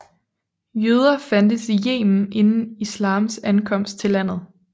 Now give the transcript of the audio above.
Jøder fandtes i Yemen inden islams ankomst til landet